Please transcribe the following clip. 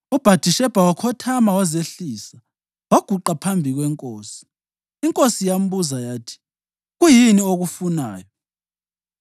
UBhathishebha wakhothama wazehlisa waguqa phambi kwenkosi. Inkosi yambuza yathi: “Kuyini okufunayo?”